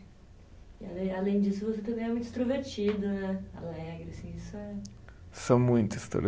E além, além disso, você também é muito extrovertido, né? Alegre assim, isso é. Sou muito